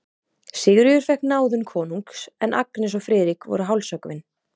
Sigríður fékk náðun konungs, en Agnes og Friðrik voru hálshöggvin.